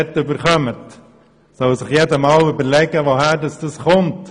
Jeder sollte sich einmal überlegen, woher das Geld über den Finanzausgleich kommt.